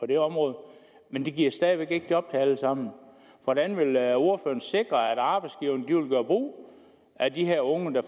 det område men det giver stadig væk ikke job til alle sammen hvordan vil ordføreren sikre at arbejdsgiverne vil gøre brug af de her unge der